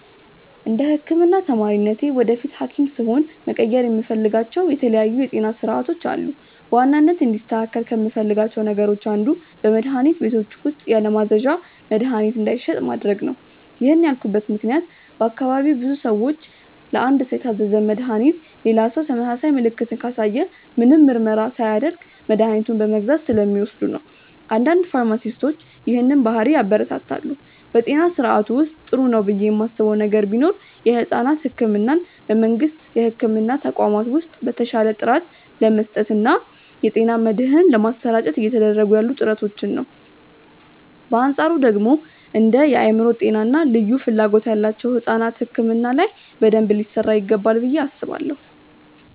እንደ ህክምና ተማሪነቴ ወደፊት ሀኪም ስሆን መቀየር የምፈልጋቸው የተለያዩ የጤና ስርዓቶች አሉ። በዋናነት እንዲስተካከል ከምፈልጋቸው ነገሮች አንዱ በመድሀኒት ቤቶች ውስጥ ያለማዘዣ መድሀኒት እንዳይሸጥ ማድረግ ነው። ይህን ያልኩበት ምክንያት በአካባቢዬ ብዙ ሰዎች ለአንድ ሰው የታዘዘን መድሃኒት ሌላ ሰው ተመሳሳይ ምልክትን ካሳየ ምንም ምርመራ ሳያደርግ መድኃኒቱን በመግዛት ስለሚወስዱ ነው። አንዳንድ ፋርማሲስቶች ይህንን ባህሪ ያበረታታሉ። በጤና ስርዓቱ ውስጥ ጥሩ ነው ብዬ ማስበው ነገር ቢኖር የሕፃናት ሕክምናን በመንግስት የሕክምና ተቋማት ውስጥ በተሻለ ጥራት ለመስጠት እና የጤና መድህን ለማሰራጨት እየተደረጉ ያሉ ጥረቶችን ነው። በአንፃሩ ደግሞ እንደ የአእምሮ ጤና እና ልዩ ፍላጎት ያላቸው ሕፃናት ሕክምና ላይ በደንብ ሊሰራ ይገባል ብዬ አስባለሁ።